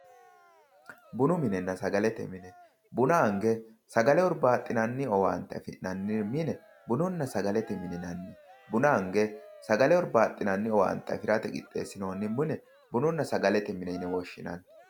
Bunu minenna sagalete mine, buna ange sagale hurbaxinanni affi'nanni owaante bununa sagalete mine ,buna ange sagale hurbaxinanni owaante affirate owaante qixxeesinonni buni bununa sagalete mineti yineemmo.